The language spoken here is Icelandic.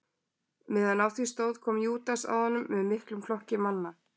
Meðan á því stóð kom Júdas að honum með miklum flokki manna.